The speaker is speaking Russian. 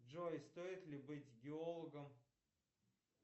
джой стоит ли быть геологом